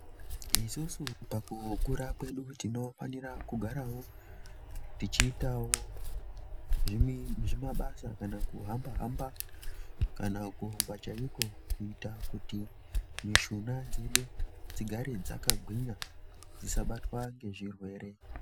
Isusu pakukurwa kwedu tinofanira kugarawo tichiitawo zvimabasa kana kuhamba hamba kana kurumba chaiko kuita kuti mishuna dzedu dzigare dzakagwinya dzisabatwa ngezvirwere.